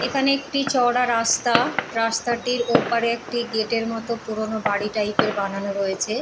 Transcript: এইখানে একটি চওড়া রাস্তা রাস্তাটির ওপারে একটি গেটের মতো একটি পুরোনো বাড়ি টাইপের বানানো রয়েছে।